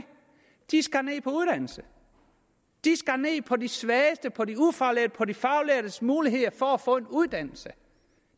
de skar ned på uddannelse de skar ned på de svagestes på de ufaglærtes på de faglærtes muligheder for at få en uddannelse